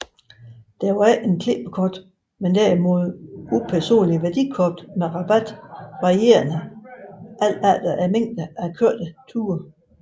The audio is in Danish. Der var ikke klippekort men derimod upersonlige værdikort med rabat varierende efter mængden af kørte ture